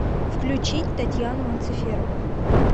включить татьяну анциферову